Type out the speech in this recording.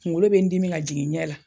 Kuŋolo be n dimi ka jigin n ɲɛ la